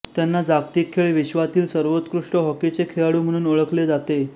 त्यांना जागतिक खेळ विश्वातील सर्वोत्कृष्ट हाॅकीचे खेळाडू म्हणून ओळखले जाते